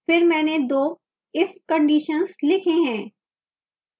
फिर मैंने दो if conditions लिखे हैं